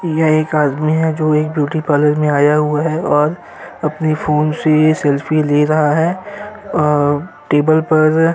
यह एक आदमी है जो एक ब्यूटी पार्लर में आया हुआ है और अपने फोन से सेल्फी ले रहा है। अ टेबल पर --